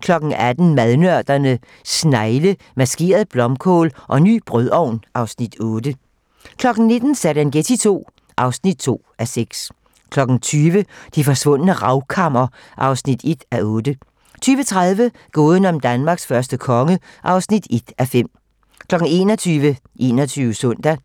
18:00: Madnørderne - snegle, maskeret blomkål og ny brødovn (Afs. 8) 19:00: Serengeti II (2:6) 20:00: Det forsvundne Ravkammer (1:8) 20:30: Gåden om Danmarks første konge (1:5) 21:00: 21 Søndag